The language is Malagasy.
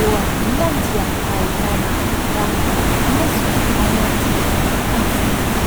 eo anilany dia ahitana ranomboakazo anaty tavoahangy.